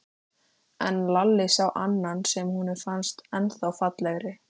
En Lalli sá annan sem honum fannst ennþá fallegri.